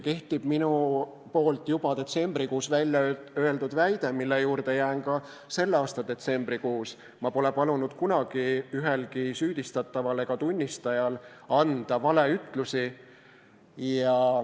Kehtib minu juba detsembrikuus välja öeldud väide, mille juurde jään ka selle aasta detsembrikuus: ma pole palunud kunagi ühelgi süüdistataval ega tunnistajal anda valeütlusi.